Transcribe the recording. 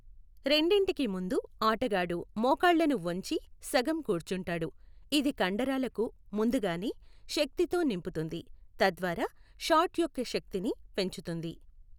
రెండింటికీ ముందు ఆటగాడు మోకాళ్ళను వంచి సగం కూర్చుంటాడు, ఇది కండరాలకు ముందుగానే శక్తీ తో నింపుతుంది తద్వారా షాట్ యొక్క శక్తిని పెంచుతుంది.